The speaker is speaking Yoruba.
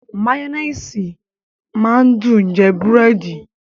Mayonnaise máa ń dùn jẹ búrẹ́dì